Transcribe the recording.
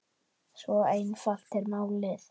Svo einfalt er málið.